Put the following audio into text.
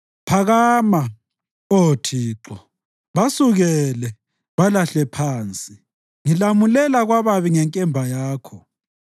Phakama, Oh Thixo, basukele, balahle phansi; ngilamulela kwababi ngenkemba yakho.